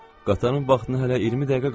Qatarın vaxtına hələ 20 dəqiqə qalıb.